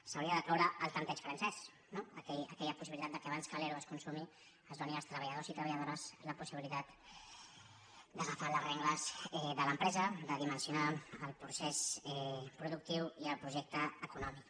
s’hauria de cloure el tempteig francès no aquella possibilitat que abans que l’ero es consumi es do·ni als treballadors i treballadores la possibilitat d’aga·far les regnes de l’empresa de dimensionar el procés productiu i el projecte econòmic